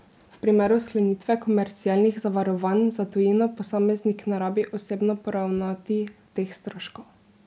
V primeru sklenitve komercialnih zavarovanj za tujino posameznik ne rabi osebno poravnati teh stroškov.